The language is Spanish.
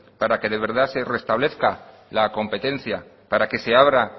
para que de verdad se restablezca la competencia para que se abra